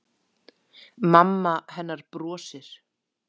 Mamma hennar brosir.